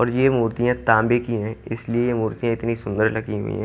और ये मूर्तियां तांबे की है इसलिए ये मूर्तियां इतनी सुंदर लगी हुई है।